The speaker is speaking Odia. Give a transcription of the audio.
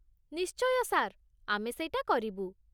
ନିଶ୍ଚୟ ସାର୍, ଆମେ ସେଇଟା କରିବୁ ।